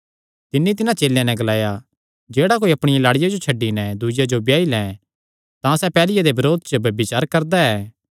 तिन्नी तिन्हां चेलेयां नैं ग्लाया जेह्ड़ा कोई अपणिया लाड़िया जो छड्डी नैं दूईआ जो ब्याई लै तां सैह़ पैहल्लिया दे बरोध च ब्यभिचार करदा ऐ